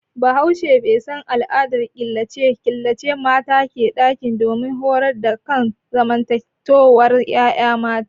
Bahaushe bai san al'adar killace mata a ɗaki don horar da akan zamantowar yaya mata